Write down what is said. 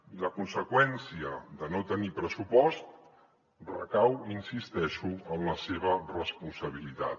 i la conseqüència de no tenir pressupost recau hi insisteixo en la seva responsabilitat